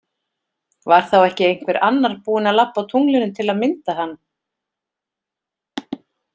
Var þá ekki einhver annar búin að labba á tunglinu til að mynda hann?